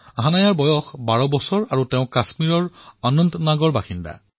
হানায়াৰ বয়স মাত্ৰ ১২ বছৰ আৰু তেওঁ কাশ্মীৰৰ অনন্তনাগৰ বাসিন্দা